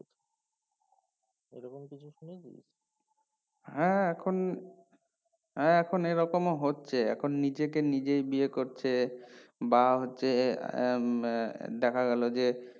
হ্যাঁ এখন হ্যাঁ এখন এইরকম ও হচ্ছে এখন নিজেকে নিজেই বিয়ে করছে বা হচ্ছে উম দেখা গেলো যে